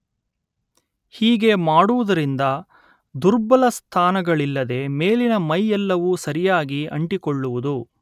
ಹೀಗೆ ಮಾಡುವುದರಿಂದ ದುರ್ಬಲ ಸ್ಥಾನಗಳಿಲ್ಲದೆ ಮೇಲಿನ ಮೈ ಎಲ್ಲವೂ ಸರಿಯಾಗಿ ಅಂಟಿಕೊಳ್ಳುವುದು